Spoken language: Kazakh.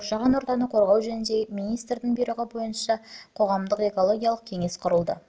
қоршаған ортаны қорғау жөніндегі министрдің бұйрығы бойынша қоғамдық экологиялық кеңес құрылды